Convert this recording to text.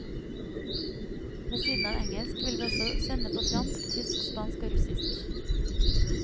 Ved siden av engelsk vil vi også sende på fransk, tysk, spansk og russisk.